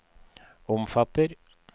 omfatter